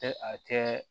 Tɛ a kɛ